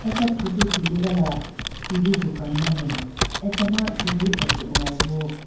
Acha photo tuligala tv dukan ma ne achama tv ake hoyi bo.